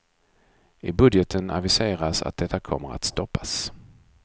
I budgeten aviseras att detta kommer att stoppas.